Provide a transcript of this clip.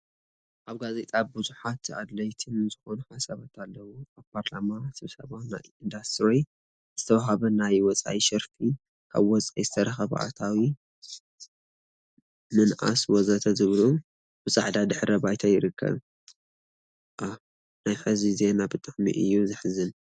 አብ ጋዜጣ ቡዙሓት አድለይቲን ዝኮኑ ሓሳባት አለው፡፡ አብ ፓርላማ ስብሰባ ናይ ኢንዱስትሪ ዝተውሃበ ናይ ወፃኢ ሸርፊን ካብ ወፃኢ ዝተረከበ አታዊ ምንአስ ወዘተ ዝብሉን ብፃዕዳ ድሕረ ባይታ ይርከብ፡፡ ፡፡ አህ! ናይ ሕዚ ዜና ብጣዕሚ እዩ ዘሐዝን፡፡